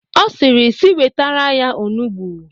Ọ sịrị si wetere ha onugbo.